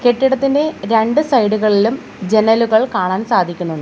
കെട്ടിടത്തിന്റെ രണ്ട് സൈഡ് കളിലും ജനലുകൾ കാണാൻ സാധിക്കുന്നു.